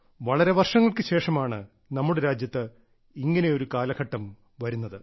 വളരെ വർഷങ്ങൾക്കു ശേഷമാണ് നമ്മുടെ രാജ്യത്ത് ഇങ്ങനെയൊരു കാലഘട്ടം വരുന്നത്